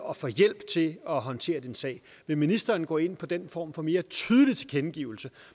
og få hjælp til at håndtere din sag vil ministeren gå ind for den form for mere tydelig tilkendegivelse